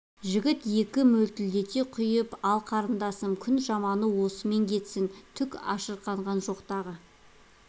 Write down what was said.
жігіт екі мөлтілдете құйып ал қарындасым күн жаманы осымен кетсін түк ашырқанған жоқ тағы